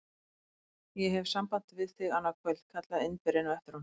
Ég hef samband við þig annað kvöld! kallaði Indverjinn á eftir honum.